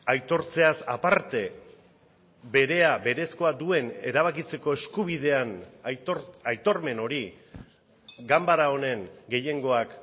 aitortzeaz aparte berea berezkoa duen erabakitzeko eskubidean aitormen hori ganbara honen gehiengoak